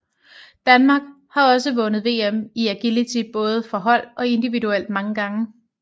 Danmark er har også vundet VM i agility både for hold og individuelt mange gange